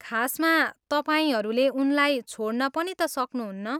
खासमा, तपाईँहरूले उनलाई छोड्न पनि त सक्नुहुन्न।